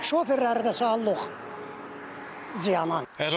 Şoferləri də salırıq ziyan.